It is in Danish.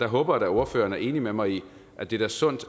håber da ordføreren er enig med mig i at det er sundt